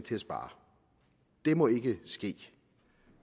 til at spare det må ikke ske